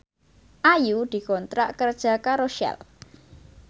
Ayu dikontrak kerja karo Shell